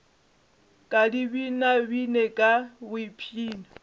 ka di binabine ka boipshino